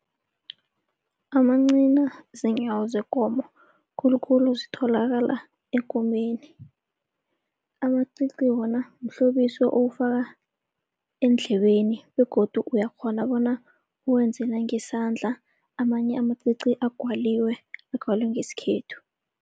Amancina ziinyawo zekomo khulukhulu zitholakala ekomeni. Amacici wona mhlobiso owufaka eendlebeni begodu uyakghona bona uwenze nangesandla, amanye amacici agwaliwe, agwalwe ngesikhethu.